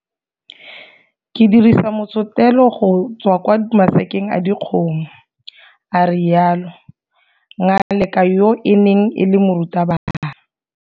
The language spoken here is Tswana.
Ke dirisa motshetelo go tswa kwa masakeng a dikgomo. a rialo. Ngaleka yo e neng e le morutabana.